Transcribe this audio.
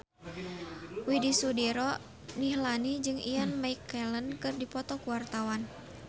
Widy Soediro Nichlany jeung Ian McKellen keur dipoto ku wartawan